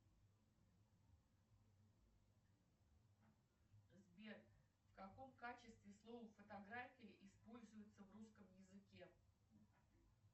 сбер в каком качестве слово фотография используется в русском языке